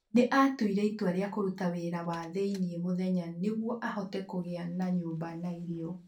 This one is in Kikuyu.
Nĩ aatuire itua rĩa kũruta wĩra wa thĩinĩ mũthenya nĩguo ahote kũgĩa na nyũmba na irio.